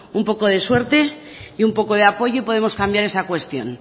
un poco de suerte y un poco de apoyo y podemos cambiar esa cuestión